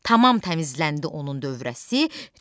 Tamam təmizləndi onun dövrəsi,